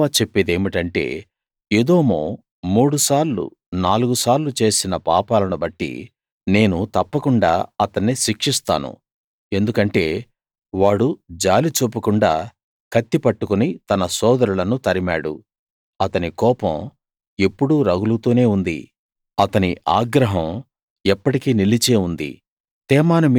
యెహోవా చెప్పేదేమిటంటే ఎదోము మూడు సార్లు నాలుగు సార్లు చేసిన పాపాలను బట్టి నేను తప్పకుండా అతన్ని శిక్షిస్తాను ఎందుకంటే వాడు జాలి చూపకుండా కత్తి పట్టుకుని తన సోదరులను తరిమాడు అతని కోపం ఎప్పుడూ రగులుతూనే ఉంది అతని ఆగ్రహం ఎప్పటికీ నిలిచే ఉంది